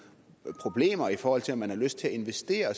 problemer i forhold til om man har lyst til at investere